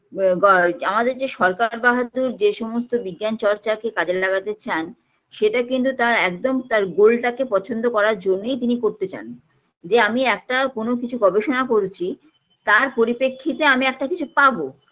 ব গ আমাদের যে সরকার বাহাদুর যে সমস্ত বিজ্ঞান চর্চাকে কাজে লাগাতে চান সেটা কিন্তু তার একদম তার গোলটাকে পছন্দ করার জন্যই তিনি করতে চান যে আমি একটা কোনো কিছু গবেষণা করেছি তার পরিপ্রেক্ষিতে আমি একটা কিছু পাবো